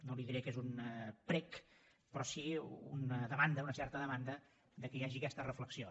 no li diré que és un prec però sí una demanda una certa demanda que hi hagi aquesta reflexió